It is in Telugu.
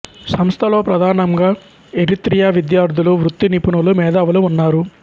సంస్థలో ప్రధానంగా ఎరిత్రియా విద్యార్థులు వృత్తి నిపుణులు మేధావులు ఉన్నారు